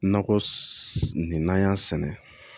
Nakɔ nin n'an y'a sɛnɛ